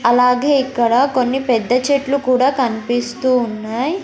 అలాగే ఇక్కడ కొన్ని పెద్ద చెట్లు కూడా కన్పిస్తూ ఉన్నాయ్.